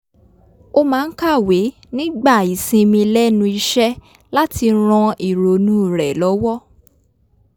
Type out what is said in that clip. ó máa ń kàwé nígbà ìsinmi lẹ́nu iṣẹ́ láti ran ìrònú rẹ̀ lọ́wọ́